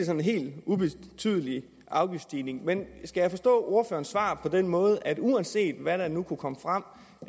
en helt ubetydelig afgiftsstigning men skal jeg forstå ordførerens svar på den måde at uanset hvad der nu kunne komme frem